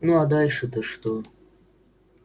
ну а дальше то что